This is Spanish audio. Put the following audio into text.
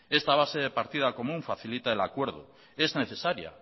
esta base de partida común facilita el acuerdo es necesaria